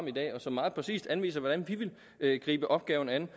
i dag og som meget præcist anviser hvordan vi vil gribe opgaven an